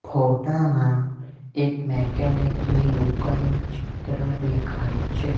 ફોટા માં એક મેકેનિક ની દુકાનનું ચિત્ર ડેખાય છે.